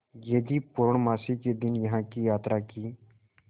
यदि पूर्णमासी के दिन यहाँ की यात्रा की